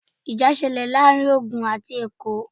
Ìjà ṣẹlẹ̀ láàárín Ògùn àti Èkó